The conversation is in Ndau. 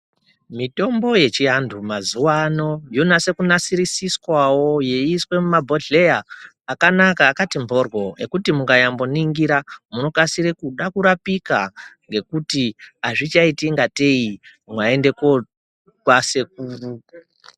Mitombo yechiantu mazuvano yonatso kunasisiriswawo yeiiswa mumabhedhlera akanaka akati mhoryo ekuti mukayamboningira mukasire kuda kurapika nekuti azvichamboiti kunge keying maenda kwasekuru .